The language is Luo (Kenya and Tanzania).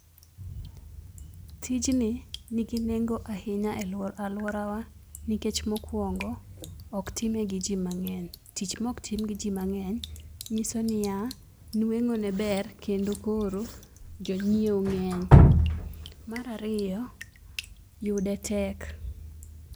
Tijni ni gi nengo ahinya e aluora wa nikech mo okuongo ok time gi ji mang'eny tich ma ok tim gi ji mang'eny ng'iso ni ya, nweng'o ne ber kendo koro jo ngiewone ng'eny. mar ariyo yude tek.